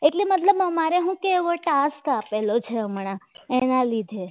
કેમ મતલબ શું? અમારે એવો ટાસ કાપેલો છે હમણાં એના લીધે